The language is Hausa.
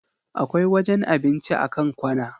Akwai wajen cin abinci a kan kwana.